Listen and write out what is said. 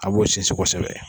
A b'o sinsin kosɛbɛ